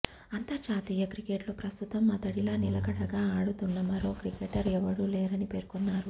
అంతర్జాతీయ క్రికెట్లో ప్రస్తుతం అతడిలా నిలకడగా ఆడుతున్న మరో క్రికెటర్ ఎవరూ లేరని పేర్కొన్నాడు